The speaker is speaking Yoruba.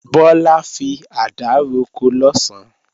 Bọ́lá fi àdá roko lọ̀sán